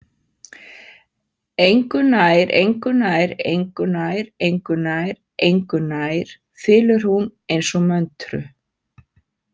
Engunærengunærengunærengunærengunærengunær, þylur hún eins og möntru.